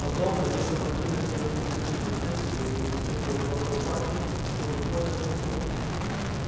потом надев сапоги накинув на плечи поддёвку и не застёгивая ворота рубахи он выходит на крыльцо